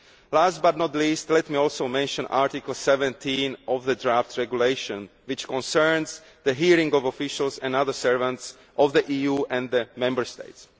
Last but not least, let me also mention Article 17 of the draft regulation, which concerns the hearing of officials and other servants of the EU and of Member States.